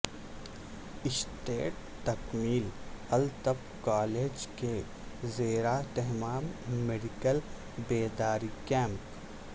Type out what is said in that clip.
state تکمیل الطب college کے زیراہتمام میڈیکل بیداری کیمپ